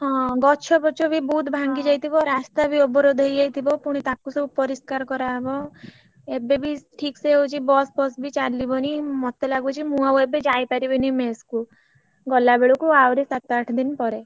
ଯହନ ଗଛ ଫଚ ବି ବହୁତ ଭାଂଗିଯାଇଥିବ ରାସ୍ତା ବି ଅବରୋଧ ହେଇଯାଇଥିବ ପୁଣି ତାକୁ ସବୁ ପରିଷ୍କାର କରା ହବ ଏବେବି ଠିକସେ ହଉଛି bus ଫସ୍ ବି ଏବେ ଯାଇପାରିବିନ mess କୁ ଗଲା ବେଳକୁ ଆହୁରି ସାତ ଆଠ ଦିନ ପରେ।